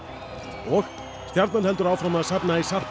og Stjarnan heldur áfram að safna í sarpinn